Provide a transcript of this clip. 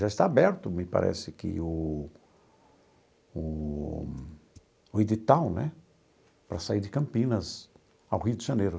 Já está aberto, me parece que o o o edital né, para sair de Campinas ao Rio de Janeiro.